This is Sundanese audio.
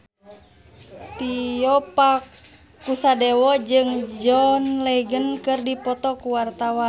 Tio Pakusadewo jeung John Legend keur dipoto ku wartawan